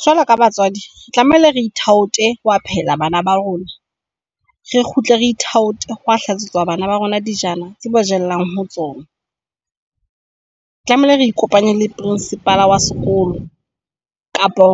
Jwalo ka batswadi tlamehile re thaote hoya phehela bana ba rona, re kgutle re ithaote hoya hlatswetsa bana ba rona dijana tseo ba jellang ho tsona. Tlamehile re ikopanye le principal wa sekolo kapa